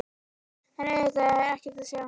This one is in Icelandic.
En auðvitað er ekkert að sjá.